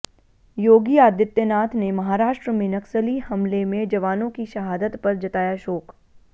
योगी आदित्यनाथ ने महाराष्ट्र में नक्सली हमले में जवानों की शहादत पर जताया शोक